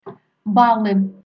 баллы